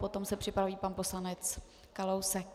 Potom se připraví pan poslanec Kalousek.